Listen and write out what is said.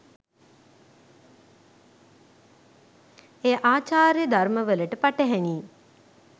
එය ආචාර ධර්මවලට පටහැනි